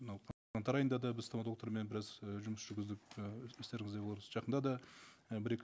мынау қаңтар айында да біз стоматологтармен біраз і жұмыс жүргіздік і естеріңізде болар жақында да і бір екі